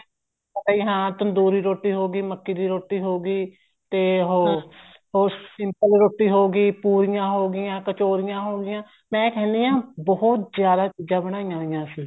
ਰੋਟੀ ਹਾਂ ਤੰਦੂਰੀ ਰੋਟੀ ਹੋਗੀ ਮੱਕੀ ਦੀ ਰੋਟੀ ਹੋਗੀ ਤੇ ਹੋਰ simple ਰੋਟੀ ਹੋਗੀ ਪੂਰੀਆਂ ਹੋਗੀਆਂ ਕਚੋਰੀਆਂ ਹੋਗੀਆਂ ਮੈਂ ਕਹਿਣੀ ਹਾਂ ਬਹੁਤ ਜ਼ਿਆਦਾ ਚੀਜ਼ਾਂ ਬਣਾਈਆਂ ਹੋਈਆਂ ਸੀ